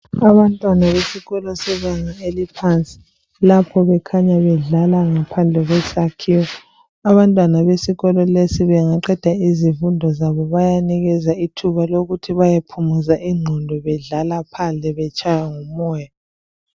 Abantwana besikolo sebanga eliphansi lapho bekhanya bedlala ngaphandle kwesakhiwo, abantwana besikolo lesi bangaqeda izifundo zabo bayanikezwa ithuba lokuthi baye phumuza ingqondo bedlala phandle betshaywa ngumoya